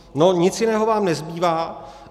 No, nic jiného vám nezbývá.